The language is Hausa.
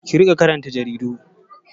Ki riƙa karanta jaridu!